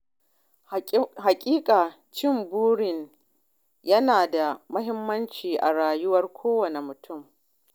Haƙiƙa Cimma buri yana da mahimmanci a rayuwar kowane mutum.